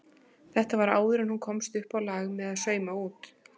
Þetta var áður en hún komst uppá lag með að sauma út.